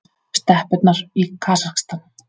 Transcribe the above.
Steppurnar í Kasakstan.